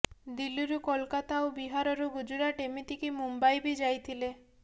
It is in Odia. ଦିଲ୍ଲୀରୁ କୋଲକତା ଆଉ ବିହାରରୁ ଗୁଜରାଟ ଏମିତିକି ମୁମ୍ବାଇ ବି ଯାଇଥିଲେ